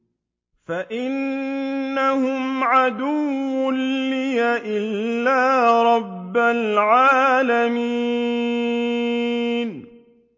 فَإِنَّهُمْ عَدُوٌّ لِّي إِلَّا رَبَّ الْعَالَمِينَ